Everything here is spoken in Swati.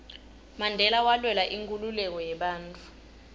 mandela walwela inkhululeko yebantfu